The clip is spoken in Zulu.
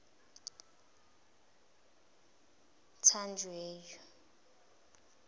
tanjewo